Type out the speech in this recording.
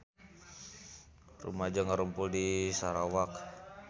Rumaja ngarumpul di Sarawak